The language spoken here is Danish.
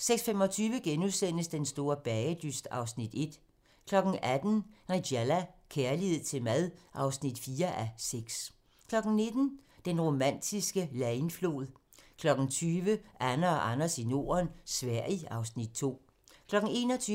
16:25: Den store bagedyst (Afs. 1)* 18:00: Nigella - kærlighed til mad (4:6) 19:00: Den romantiske Leine-flod 20:00: Anne og Anders i Norden - Sverige (Afs. 2) 21:00: